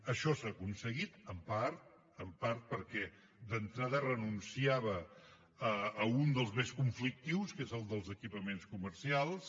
això s’ha aconseguit en part en part perquè d’entrada renunciava a un dels més conflictius que és el dels equipaments comercials